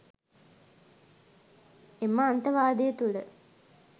එම අන්තවාදය තුළ